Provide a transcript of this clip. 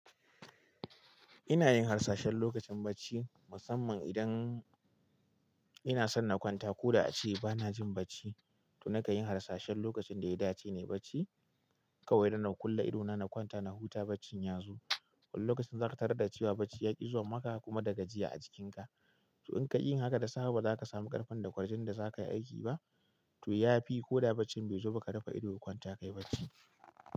Ina yin harsashen lokacin bacci, musamman idan ina son na kwanta ko da a ce ba na jin bacci, to na kan yi harsashen lokacin da ita ce ne bacci, kawai da na kulle idona na kwanta na huta baccin ya zo. Wani lokacin za ka tarar da cewa bacci ya ƙi zuwa maka kuma da gajiya a jikinka. To in ka yi haka, da safe ba za ka samu ƙarfin da ƙwarjinin da za ka yi aiki ba. To ya fi ko da baccin bai zo ba ka rufe ido ka kwanta ka yi bacci.